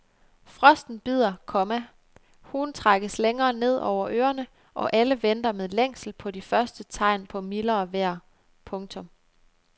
Frosten bider, komma huen trækkes længere ned over ørerne og alle venter med længsel på de første tegn på mildere vejr. punktum